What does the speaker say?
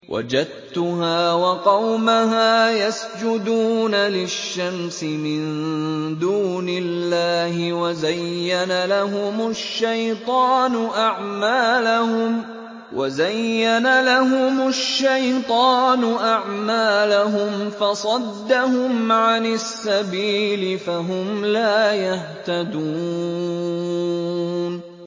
وَجَدتُّهَا وَقَوْمَهَا يَسْجُدُونَ لِلشَّمْسِ مِن دُونِ اللَّهِ وَزَيَّنَ لَهُمُ الشَّيْطَانُ أَعْمَالَهُمْ فَصَدَّهُمْ عَنِ السَّبِيلِ فَهُمْ لَا يَهْتَدُونَ